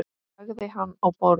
Lagði hann á borð.